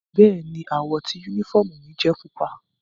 Bẹ́ẹ̀ni, àwọ ti unifọmú mi jẹ pupa.